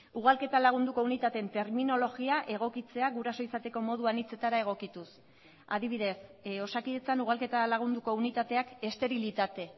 ugalketa lagunduko unitateen terminologia egokitzea guraso izateko moduan hitzetara egokituz adibidez osakidetzan ugalketa lagunduko unitateak esterilitate